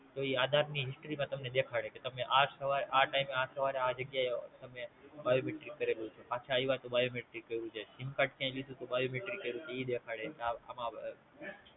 તો ઈ આધાર ની History માં તમને દેખાડે કે તમે આ સમયે આ Time આ સમયે તમે Biometric કરેલું છે પાંચ આયવા તો Biometric કરેલું છે Simcard ક્યાંય લીધું તો Biometric કયૃતું તો ઈ દેખાડે